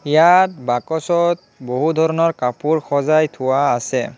ইয়াত বাকচত বহু ধৰণৰ কাপোৰ সজাই থোৱা আছে।